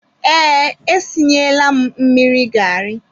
Ee, e sinyela m mmiri garị.